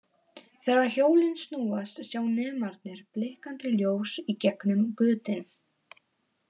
Þegar hjólin snúast sjá nemarnir blikkandi ljós í gegnum götin.